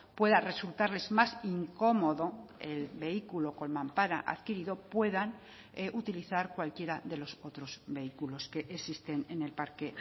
pueda resultarles más incómodo el vehículo con mampara adquirido puedan utilizar cualquiera de los otros vehículos que existen en el parque